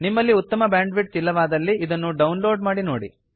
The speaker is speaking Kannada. ನಿಮ್ಮಲ್ಲಿ ಉತ್ತಮ ಬ್ಯಾಂಡ್ವಿಡ್ಥ್ ಇಲ್ಲವಾದಲ್ಲಿ ಇದನ್ನು ಡೌನ್ಲೋಡ್ ಮಾಡಿ ನೋಡಿ